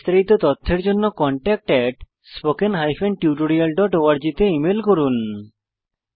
বিস্তারিত তথ্যের জন্য contactspoken tutorialorg তে ইমেল করুন